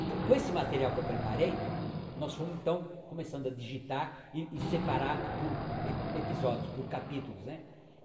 Então, com esse material que eu preparei, nós fomos então começando a digitar e separar por epi episódios, por capítulos, né.